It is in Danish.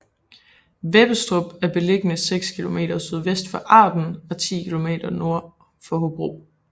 Vebbestrup er beliggende seks kilometer sydvest for Arden og 10 kilometer nord for Hobro